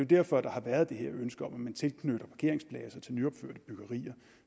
derfor at der har været det her ønske om at man tilknytter parkeringspladser til nyopførte byggerier